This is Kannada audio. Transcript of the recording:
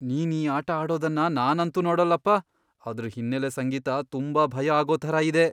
ನೀನ್ ಈ ಆಟ ಆಡೋದನ್ನ ನಾನಂತೂ ನೋಡಲ್ಲಪ್ಪ. ಅದ್ರ್ ಹಿನ್ನೆಲೆ ಸಂಗೀತ ತುಂಬಾ ಭಯ ಆಗೋ ಥರ ಇದೆ.